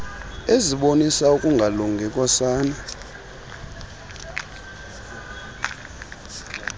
ezibonisa ukungalungi kosana